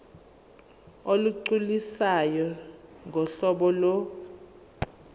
olugculisayo ngohlobo lo